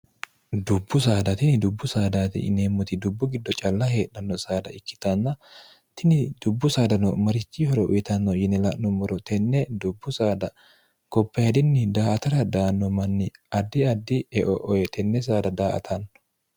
dubbu saadatini dubbu saadati ineemmoti dubbu giddo calla heedhanno saada ikkitanna tini dubbu saadano marichi horo uyitanno yine la'nummoro tenne dubbu saada gopeedinni daa atara daanno manni addi addi eoo tenne saada daa atanno